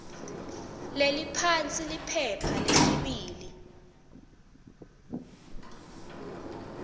leliphansi liphepha lesibili